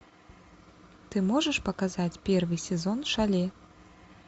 ты можешь показать первый сезон шале